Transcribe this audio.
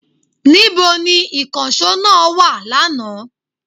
Níbo ni ìkànsó náà wa lánàá?